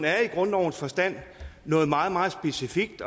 er i grundlovens forstand noget meget meget specifikt